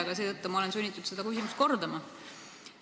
Aga seetõttu olen ma sunnitud seda küsimust kordama.